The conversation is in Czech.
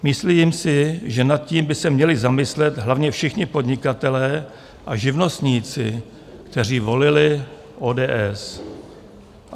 Myslím si, že nad tím by se měli zamyslet hlavně všichni podnikatelé a živnostníci, kteří volili ODS.